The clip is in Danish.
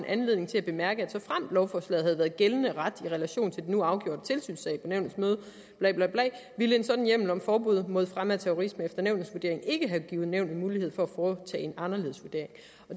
anledning til at bemærke at såfremt lovforslaget havde været gældende ret i relation til den nu afgjorte tilsynssag på nævnets møde bla bla bla ville en sådan hjemmel om forbud mod fremme af terrorisme efter nævnets vurdering ikke have givet nævnet mulighed for at foretage en anderledes vurdering